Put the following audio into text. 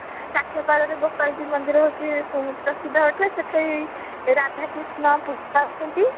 ସାକ୍ଷୀଗୋପାଳ ରେ ଗୋପାଳଜୀଉ ମନ୍ଦିର ହଉଛି ସବୁଠୁ ପ୍ରସିଦ୍ଧ ଅଟେ ସେଠି ରାଧା କୃଷ୍ଣ ପୂଜା ପାଉଛନ୍ତି